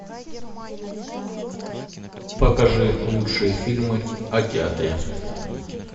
покажи лучшие фильмы о театре